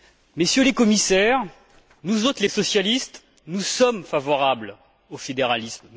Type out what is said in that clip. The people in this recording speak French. Messieurs les commissaires, nous autres les socialistes sommes favorables au fédéralisme.